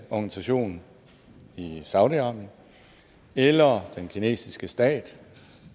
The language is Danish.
organisation i saudi arabien eller den kinesiske stat